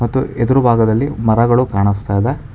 ತ್ತು ಎದುರು ಭಾಗದಲ್ಲಿ ಮರಗಳು ಕಾಣಿಸ್ತಾ ಇದೆ.